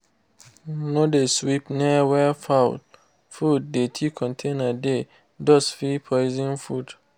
no de sweep near wey fowl food dirty container dey_ dust fit poison food.